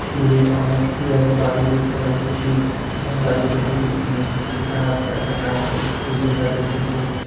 দূরে অনেক বিয়ারি বাড়ি দেখতে পাইতেসি আম গাড়িগুলির পিছনে কিছু গাছ একটা কারেন্টের খুঁটি দেখা যাইতেসে।